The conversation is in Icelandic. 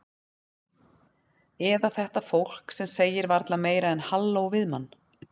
Eða þetta fólk sem segir varla meira en halló við mann.